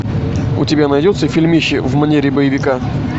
у тебя найдется фильмище в манере боевика